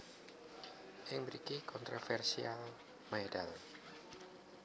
Ing mriki kontroversial medal